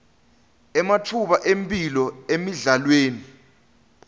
ematfuba emphilo emidlalweni